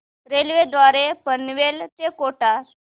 railway द्वारे पनवेल ते कोटा